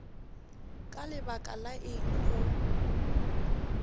ka lebaka la eng go